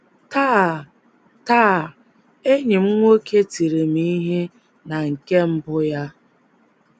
“ Taa “ Taa, enyi m nwoke tiri m ihe na nke mbụ ya.